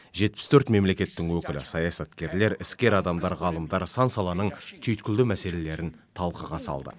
жетпіс төрт мемлекеттің өкілі саясаткерлер іскер адамдар ғалымдар сан саланың түйткілді мәселелерін талқыға салды